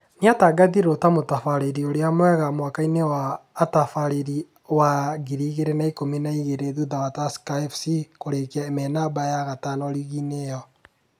Nĩatangathirwo ta mũtabarĩri ũria mwega mwaka-inĩ wa atabarĩri wa ngiri igĩri na ikũmi na igĩrĩ thutha wa Tusker FC kũrĩkia me namba ya gatano rigi-inĩ ĩyo